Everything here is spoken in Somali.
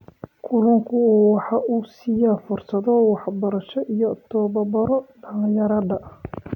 Kalluunku waxa uu siiyaa fursado waxbarasho iyo tababaro dhalinyarada.